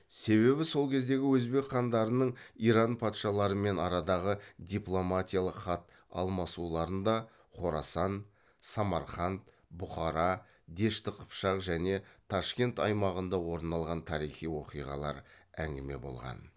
себебі сол кездегі өзбек хандарының иран патшаларымен арадағы дипломатиялық хат алмасуларында хорасан самарқанд бұқара дешті қыпшақ және ташкент аймағында орын алған тарихи оқиғалар әңгіме болған